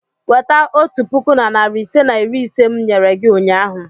Weta otu puku na narị ise na iri ise m nyere gị ụnyahụ!